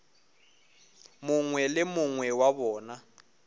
mongwe le mongwe wa bona